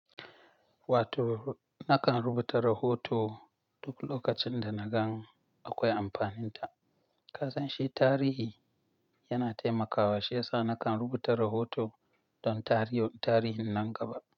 Wato nakan rubuta rahoto duk lokacin da na gan akwai amfanin ta. Ka san shi tarihi, yana taimakawa shiyasa nakan rubuta rahoto don tarihin nan gaba.